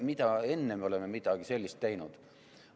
Millal me enne oleme midagi sellist teinud?